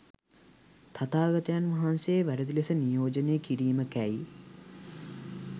තථාගතයන් වහන්සේ වැරැදි ලෙස නියෝජනය කිරීමකැයි